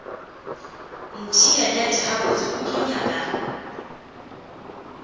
ntheelet gabotse o tlo nyaka